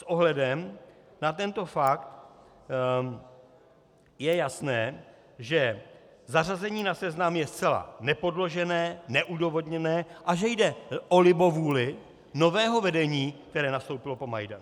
S ohledem na tento fakt je jasné, že zařazení na seznam je zcela nepodložené, neodůvodněné a že jde o libovůli nového vedení, které nastoupilo po Majdanu.